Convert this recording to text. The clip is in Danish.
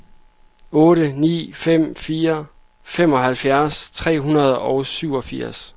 otte ni fem fire femoghalvfjerds tre hundrede og syvogfirs